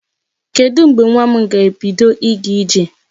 Kedụ mgbe nwa m ga-ebido ịga ije?